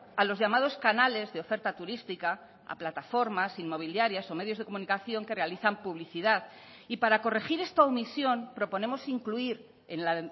a los llamados canales de oferta turística a plataformas inmobiliarias o medios de comunicación que realizan publicidad y para corregir esta omisión proponemos incluir en la